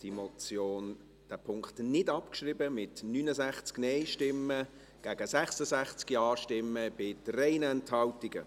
Sie haben diesen Punkt nicht abgeschrieben, mit 69 Nein- zu 66 Ja-Stimmen bei 3 Enthaltungen.